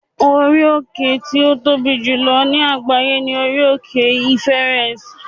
orí òkè ti o Tobi jùlọ ní àgbáyé ni orí òkè Everest